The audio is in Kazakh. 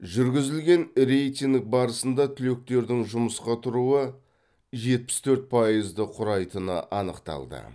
жүргізілген рейтинг барысында түлектердің жұмысқа тұруы жетпіс төрт пайызды құрайтыны анықталды